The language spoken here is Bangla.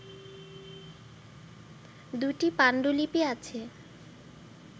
দুটি পাণ্ডুলিপি আছে